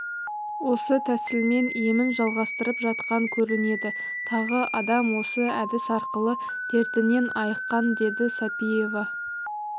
осы тәсілмен емін жалғастырып жатқан көрінеді тағы адам осы әдіс арқылы дертінен айыққан деді сапиева